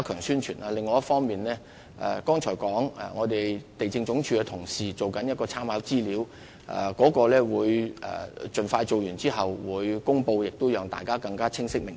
此外，我剛才亦提到，地政總署的同事正在編製參考資料，我們會盡快完成並作出公布，讓市民更清晰明白。